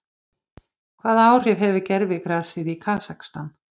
Hvaða áhrif hefur gervigrasið í Kasakstan?